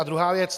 A druhá věc.